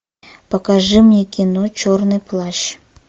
покажи мне кино черный плащ